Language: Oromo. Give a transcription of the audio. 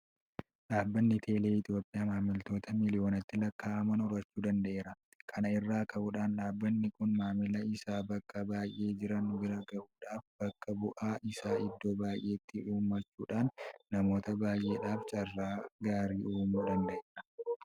Dhaabbanni teelee Itoophiyaa maamiloota miiliyoonatti lakkaa'aman horachuu danda'eera. Kana irraa ka'uudhaan dhaabbanni kun maamila isaa bakka baay'ee jiran bira gahuudhaaf bakka bu'aa isaa iddoo baay'eetti uummachuudhaan namoota baay'eedhaaf carraa gaarii uumuu danda'eera.